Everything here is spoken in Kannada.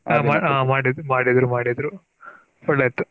ಹ ಮಾಡಿ ಮಾಡಿದ್ರು ಮಾಡಿದ್ರು ಒಳ್ಳೆ ಇತ್ತು.